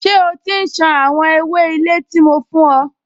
Ṣé o ti ń ṣan àwọn ewé ilé tí mo fún ẹ?